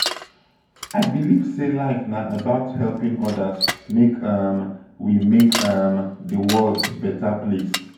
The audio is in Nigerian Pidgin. i believe sey life na about helping odas make um we make um di world beta place.